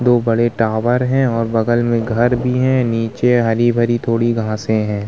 दो बड़े टावर हैं और बगल में घर भी है। नीचे हरी-भरी थोड़ी घासें हैं।